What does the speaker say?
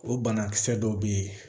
O banakisɛ dɔw bɛ yen